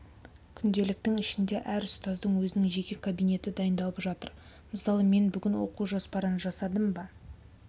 күнделіктің ішінде әр ұстаздың өзінің жеке кабинеті дайындалып жатыр мысалы мен бүгін оқу жоспарын жасадым ба